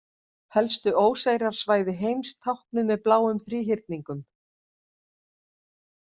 Helstu óseyrasvæði heims táknuð með bláum þríhyrningum.